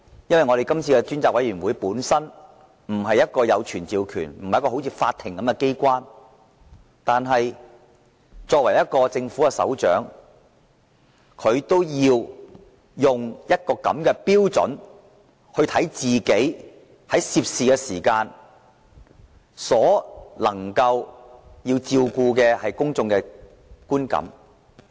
雖然專責委員會本身不是一個如法庭般擁有傳召權的機關，但梁振英作為政府首長，理應以法庭的標準來看待自己今次所涉及的事件，從而照顧公眾的觀感。